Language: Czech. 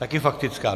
Také faktická?